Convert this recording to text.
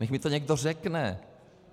Ať mi to někdo řekne.